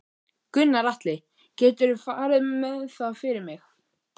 Gunnar Atli: Geturðu farið með það fyrir mig?